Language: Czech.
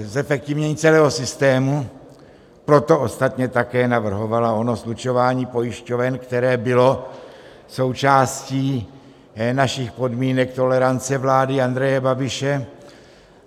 zefektivnění celého systému, proto ostatně také navrhovala ono slučování pojišťoven, které bylo součástí našich podmínek tolerance vlády Andreje Babiše.